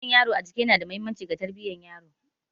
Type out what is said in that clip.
Jan yaro a jiki yana da mahimmanci ga tarbiyyar yaro.